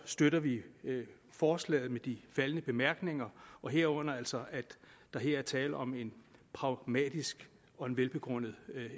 støtter vi forslaget med disse faldne bemærkninger herunder altså at der er tale om et pragmatisk og velbegrundet